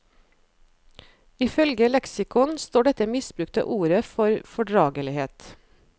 Ifølge leksikon står dette misbrukte ordet for fordragelighet.